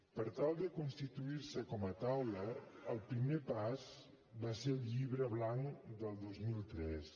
per tal de constituir se com a taula el primer pas va ser el llibre blanc del dos mil tres